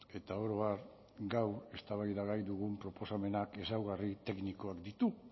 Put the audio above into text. eta oro har gaur eztabaidagai dugun proposamenak ezaugarri teknikoak ditu